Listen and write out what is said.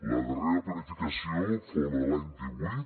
la darrera planificació fou la de l’any divuit